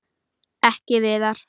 Ekki Viðar.